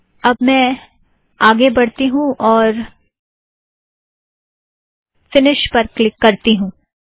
अब मैं फ़िनिश पर क्लिक करूँगी